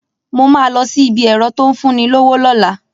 Mo ma lọ sí ibi ẹ̀rọ́ tó ń fún ni lówó lọ́la